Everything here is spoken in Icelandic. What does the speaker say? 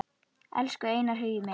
Elsku Einar Hugi minn.